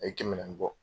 A ye kɛmɛ naani bɔ